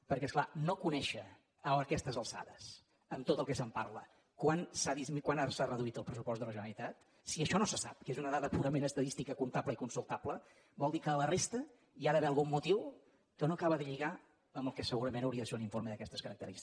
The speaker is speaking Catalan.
perquè és clar no conèixer a aquestes alçades amb tot el que se’n parla quant s’ha reduït el pressupost de la generalitat si això no se sap que és una dada purament estadística comptable i consultable vol dir que a la resta hi ha d’haver algun motiu que no acaba de lligar amb el que segurament hauria de ser un informe d’aquestes característiques